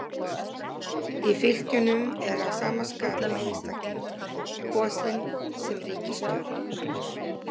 Í fylkjunum er að sama skapi einstaklingur kosinn sem ríkisstjóri.